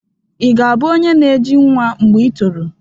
Ị ga-abụ onye na-eji nwa mgbe i toro?